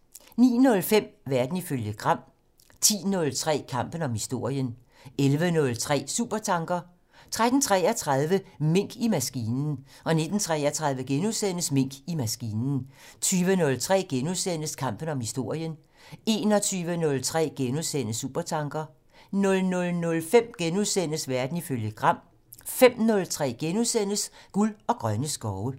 09:05: Verden ifølge Gram 10:03: Kampen om historien 11:03: Supertanker 13:33: Mink i maskinen 19:33: Mink i maskinen * 20:03: Kampen om historien * 21:03: Supertanker * 00:05: Verden ifølge Gram * 05:03: Guld og grønne skove *